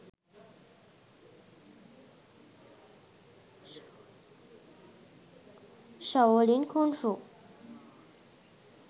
shaolin kungfu